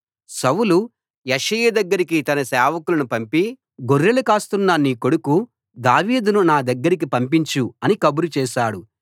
సౌలు యెష్షయి దగ్గరకి తన సేవకులను పంపి గొర్రెలు కాస్తున్న నీ కొడుకు దావీదును నా దగ్గరకి పంపించు అని కబురు చేశాడు